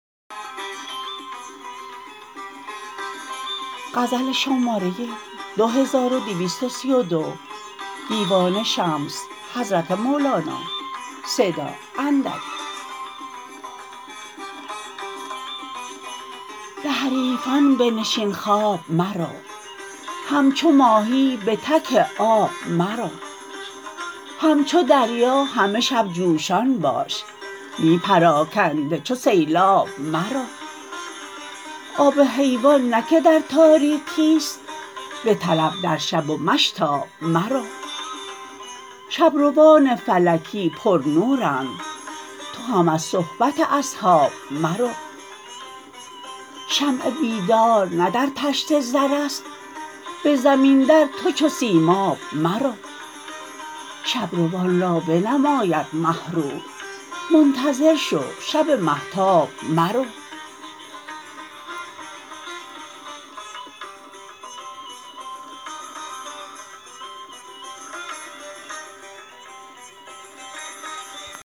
به حریفان بنشین خواب مرو همچو ماهی به تک آب مرو همچو دریا همه شب جوشان باش نی پراکنده چو سیلاب مرو آب حیوان نه که در تاریکی است بطلب در شب و مشتاب مرو شب روان فلکی پرنورند تو هم از صحبت اصحاب مرو شمع بیدار نه در طشت زر است به زمین در تو چو سیماب مرو شب روان را بنماید مه رو منتظر شو شب مهتاب مرو